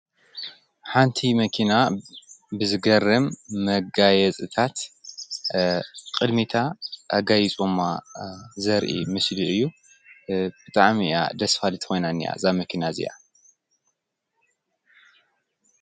ሓንቲ መኪና ብዝገርም መጋየፂታት ቅድሚታ ኣጋየፆማ ዘርኢ ምስሊ እዩ፣ ብጣዕሚ እያ ደስ በሃሊት ኮይና እኒኣ እዛ መኪና እዚኣ።